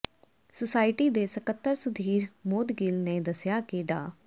society ਦੇ ਸਕੱਤਰ ਸੁਧੀਰ ਮੋਦਗਿੱਲ ਨੇ ਦੱਸਿਆ ਕਿ ਡਾ